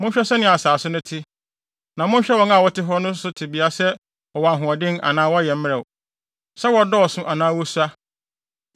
Monhwɛ sɛnea ɛhɔ asase no te; na monhwɛ wɔn a wɔte hɔ no nso tebea sɛ wɔwɔ ahoɔden anaa wɔyɛ mmerɛw, sɛ wɔdɔɔso anaa wosua.